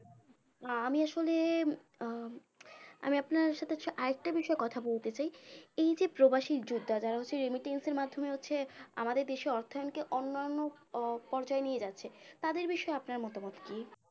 আহ আমি আসলে আহ আমি আপনার সাথে বিষয়ে আরেকটা বিষয়ে কথা বলতে চাই এই যে প্রবাসী যোদ্ধারা যারা remittance এর মাধ্যমে হচ্ছে আমাদের দেশে অর্থায়নকে অন্যান্য আহ পর্যায়ে নিয়ে যাচ্ছে তাদের বিষয়ে আপনার মতামত কি